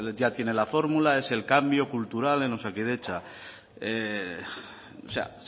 tiene la fórmula es el cambio cultural en osakidetza o sea